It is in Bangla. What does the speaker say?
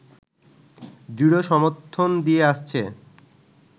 দৃঢ় সমর্থন দিয়ে আসছে